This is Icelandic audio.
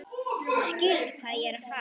Þú skilur hvað ég er að fara.